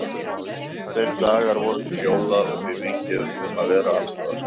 Tveir dagar voru til jóla og því mikið um að vera alls staðar.